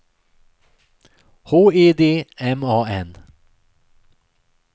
H E D M A N